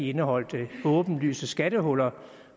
indeholdt åbenlyse skattehuller